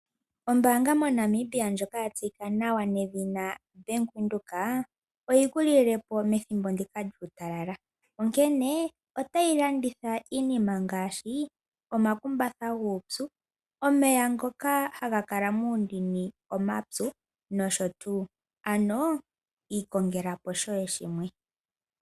Ombaanga moNamibia ndjoka ya tseyika nawa nedhina Bank Windhoek oyi ku lile po methimbo ndika lyuutalala, onkene tayi ku dhimbulukitha opo wi ilandele iinima ngaashi omakumbatha guupyu, omeya ngoka haga kala muundini omapyu nosho tuu. Ano ikongela po shoye shimwe.